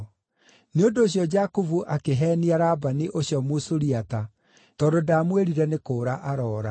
Nĩ ũndũ ũcio Jakubu akĩheenia Labani ũcio Mũsuriata tondũ ndaamwĩrire nĩ kũũra aroora.